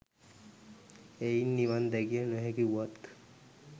එයින් නිවන් දැකිය නොහැකි වුවත්